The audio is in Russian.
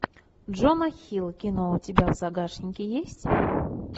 джона хилл кино у тебя в загашнике есть